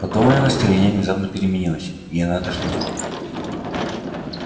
потом её настроение внезапно переменилось и она отошла в сторону